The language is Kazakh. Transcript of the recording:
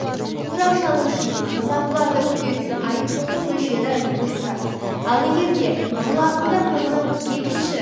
қоңырау шалу үшін бұзақыларды күтетін айыппұлдың мөлшері осы ал егер де жыл ағымында қоңырау екінші